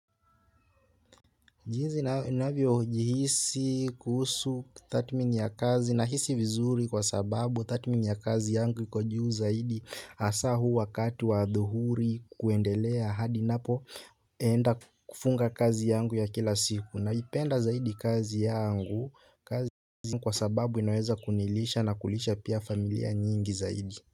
Jinsi ninavyo jihisi kuhusu tathmini ya kazi na hisi vizuri kwa sababu tathmini ya kazi yangu iko juu zaidi hasa huu wakati wa adhuhuri kuendelea hadi napo. Naenda kufunga kazi yangu ya kila siku, naipenda zaidi kazi yangu kwa sababu inaweza kunilisha na kulisha pia familia nyingi zaidi.